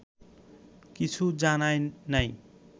কিছু জানায় নাই